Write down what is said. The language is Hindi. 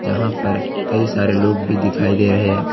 यहां पर कई सारे लोग भी दिखाई दे रहे हैं।